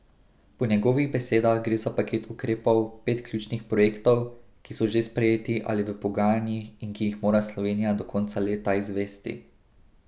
Po njegovih besedah gre za paket ukrepov, pet ključnih projektov, ki so že sprejeti ali v pogajanjih in ki jih mora Slovenija do konca leta izvesti.